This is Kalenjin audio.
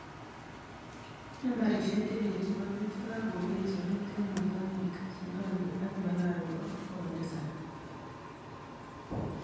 Nambarishek che lel chebo bik chekagobet sabet eng mozambique, zimbabwe ak malawi ko 700